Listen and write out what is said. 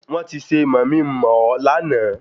Wọn ti ṣe mọ̀mi ń mọ̀ ọ́ láàná